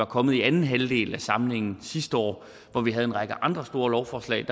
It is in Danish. kommet i anden halvdel af samlingen sidste år hvor vi havde en række andre store lovforslag